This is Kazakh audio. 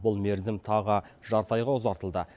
бұл мерзім тағы жарты айға ұзартылды